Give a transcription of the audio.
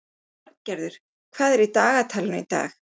Arngerður, hvað er í dagatalinu í dag?